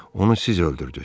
Onu siz öldürdüz.